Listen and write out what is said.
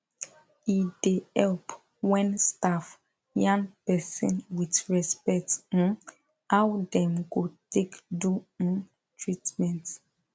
e da help when staff yan person with respect um how them go take do um treatment